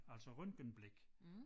Altså røntgenblik